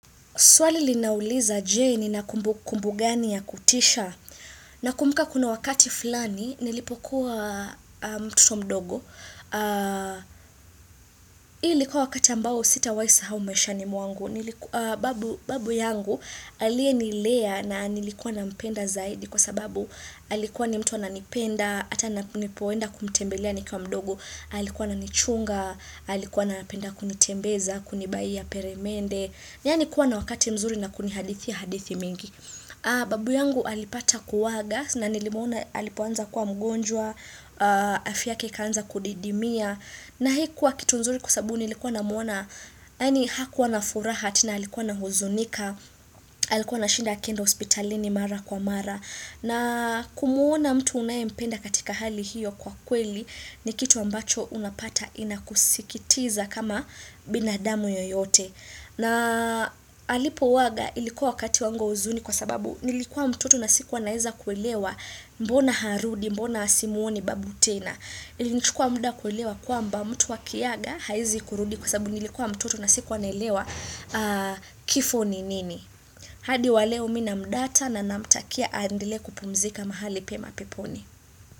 Swali linauliza jeni na kumbu gani ya kutisha. Na kumuka kuna wakati fulani, nilipokuwa mtoto mdogo. Hii likuwa wakati ambao sita waisa haumesha ni mwangu. Babu yangu alie nilea na nilikuwa na mpenda zaidi kwa sababu alikuwa ni mtuwa na nipenda, ata na nipowenda kumtembelea nikua mdogo, alikuwa na nichunga, alikuwa na napenda kunitembeza, kunibai ya peremende. Yaani kuwa na wakati mzuri na kuni hadithi hadithi mingi Babu yangu alipata kuwaga na nilimuona alipuanza kuwa mgonjwa Afyake ikanza kudidimia na hii kuwa kitu mzuri kusabu nilikuwa na muona Hani hakuwa na furaha na alikuwa na huzonika Alikuwa na shinda akenda hospitalini mara kwa mara na kumuona mtu unayempenda katika hali hiyo kwa kweli ni kitu ambacho unapata ina kusikitiza kama binadamu yoyote na halipowaga ilikuwa kati wangu uzuni kwa sababu nilikuwa mtoto na sikuwa naiza kwelewa mbona harudi, mbona asimuoni babu tena. Ilikuwa muda kuelewa kwamba mtu wa kiaga haizi kurudi kwa sababu nilikuwa mtoto na sikuwa naelewa kifo ni nini. Hadi waleo mimi mdata na namtakia andele kupumzika mahali pema peponi.